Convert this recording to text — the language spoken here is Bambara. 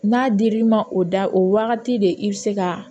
N'a dir'i ma o da o wagati de i be se ka